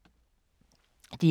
DR K